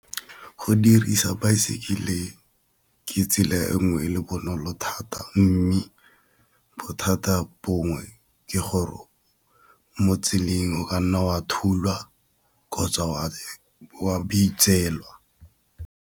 Go dirisa baesekele ke tsela e nngwe e le bonolo thata, mme bothata bongwe ke gore o mo tseleng o kanna wa thulwa kgotsa wa .